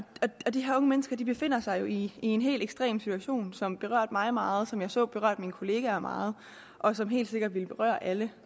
de her unge mennesker befinder sig jo i en helt ekstrem situation som berørte mig meget og som jeg så berørte mine kollegaer meget og som helt sikkert vil berøre alle